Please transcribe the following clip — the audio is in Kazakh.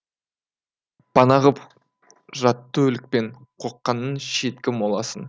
пана ғып жатты өлікпен қоққанның шеткі моласын